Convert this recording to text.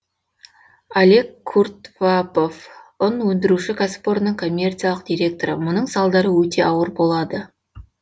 олег куртвапов ұн өндіршуі кәсіпорынның коммерциялық директоры мұның салдары өте ауыр болады